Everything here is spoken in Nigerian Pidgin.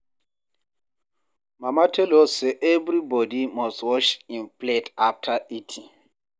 Mama tell us say everybodi must wash im plate after eating.